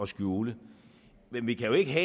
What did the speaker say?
skjule men vi kan jo ikke